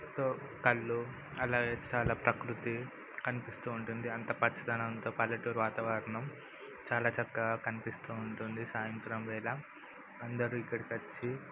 వాళ్ళు అలాగే చాలా ప్రకృతి అనిపిస్తోంది .అంతా పచ్చదనంతో పల్లెటూరు వాతావరణం చాలా చల్లగా కనిపిస్తోంది. సాయంత్రం వేళ అందరు ఇక్కడకొచ్చి --